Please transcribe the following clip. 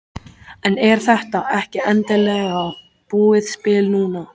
En er þetta ekki endanlega búið spil núna?